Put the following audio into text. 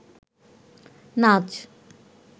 নাচ